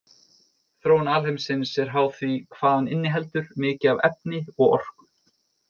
Þróun alheimsins er háð því hvað hann inniheldur mikið af efni og orku.